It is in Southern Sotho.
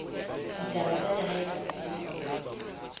ditaba tsa lehae kapa embasing